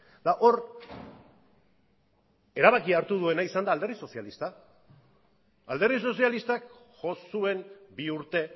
eta hor erabakia hartu duena izan da alderdi sozialista alderdi sozialistak jo zuen bi urte